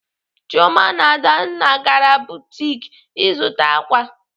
Chioma na Adanna gara butik ịzụta ákwà.